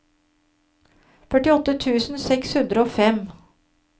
førtiåtte tusen seks hundre og fem